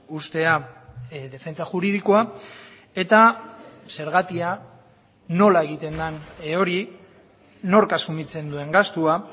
uztea defentsa juridikoa eta zergatia nola egiten den hori nork asumitzen duen gastua